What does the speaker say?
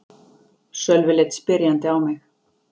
Sölvi leit spyrjandi á mig.